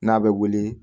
N'a bɛ wili